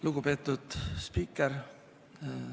Lugupeetud spiiker!